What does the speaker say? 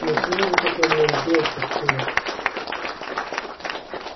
ну чего ты так на неё взъелся стюарт